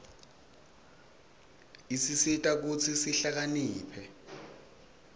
isisita kutsi sihlakaniphe